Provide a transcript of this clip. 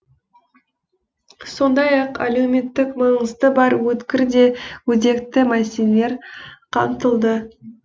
сондай ақ әлеуметтік маңызы бар өткір де өзекті мәселелер қамтылды